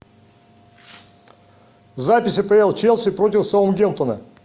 запись апл челси против саутгемптона